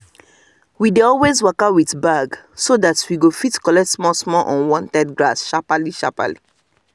we dey always waka with bag so that we go fit collect small small unwanted grass sharply sharply